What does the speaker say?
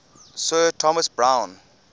sir thomas browne